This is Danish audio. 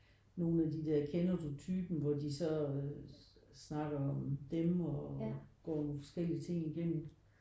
Nogen af de der Kender du typen? hvor de så øh snakker om dem og går nogle forskellige ting igennem